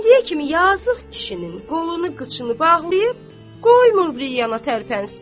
İndiyə kimi yazıq kişinin qolunu, qıçını bağlayıb, qoymur bir yana tərpənsin.